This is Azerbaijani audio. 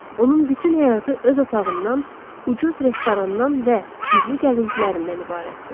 Onun bütün həyatı öz otağından, ucuz restorandan və sirli gəzintilərindən ibarətdir.